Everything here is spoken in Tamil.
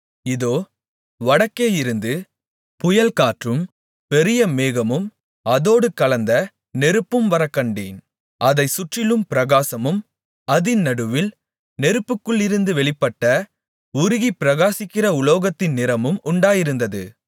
இதோ வடக்கேயிருந்து புயல்காற்றும் பெரிய மேகமும் அதோடு கலந்த நெருப்பும் வரக்கண்டேன் அதைச் சுற்றிலும் பிரகாசமும் அதின் நடுவில் நெருப்புக்குள்ளிருந்து வெளிப்பட்ட உருகிப்பிரகாசிக்கிற உலோகத்தின் நிறமும் உண்டாயிருந்தது